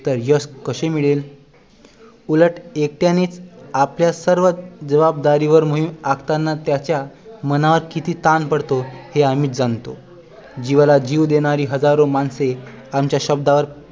तर यश कसे मिळेल उलट एकट्याने आपल्या सर्व जवाबदारीवर मोहीम आखताना त्याच्या मनावर किती ताण पडतो हे आम्हीच जाणतो जीवाला जीव देणारी हजारो माणसे आमचा शब्दांवर